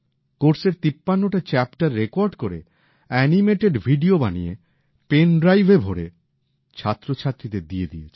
কোর্সের ৫৩ টা chapter record করে এনিমেটেড ভিডিও বানিয়ে পেন ড্রাইভে ভরে ছাত্রছাত্রীদের দিয়ে দিয়েছেন